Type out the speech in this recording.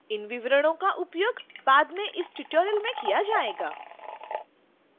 इन विवरणों का उपयोग बाद में इस tutorial में किया जाएगा